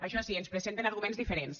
això sí ens presenten arguments diferents